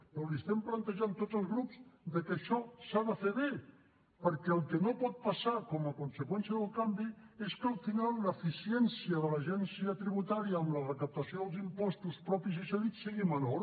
però li estem plantejant tots els grups que això s’ha de fer bé perquè el que no pot passar com a conseqüència del canvi és que al final l’eficiència de l’agència tributària en la recaptació dels impostos propis i cedits sigui menor